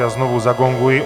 Já znovu zagonguji.